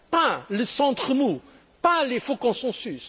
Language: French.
Pas le centre mou, pas les faux consensus.